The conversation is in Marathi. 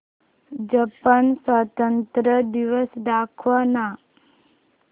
जपान स्वातंत्र्य दिवस दाखव ना